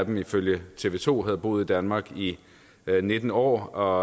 en ifølge tv to havde boet i danmark i nitten år og